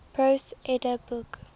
prose edda book